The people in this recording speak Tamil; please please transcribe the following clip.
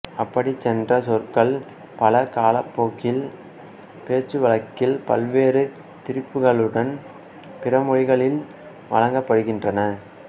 அப்படிச் சென்ற சொற்கள் பல காலப்போக்கில் பேச்சுவழக்கில் பல்வேறு திரிபுகளுடன் பிறமொழிகளில் வழங்கப்படுகின்றன